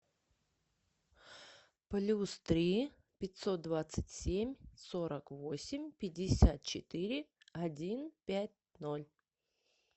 плюс три пятьсот двадцать семь сорок восемь пятьдесят четыре один пять ноль